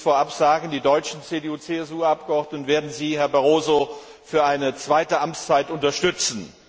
Ich will es vorab sagen Die deutschen CDU CSU Abgeordneten werden Sie, Herr Barroso, für eine zweite Amtszeit unterstützen.